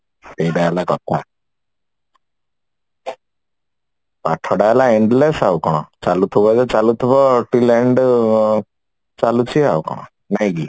ସେଇଟା ହେଲା କଥା ପାଠ ଟା ହେଲା ambulance ଆଉ କଣ ଚାଳୁଥିବ ବୋଲେ ଚାଳୁଥିବ ଚାଲୁଛି ଆଉ କଣ ନାଇକି